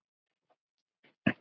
Blessuð sé minning Birnu.